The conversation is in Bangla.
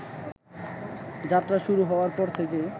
যাত্রা শুরু হওয়ার পর থেকে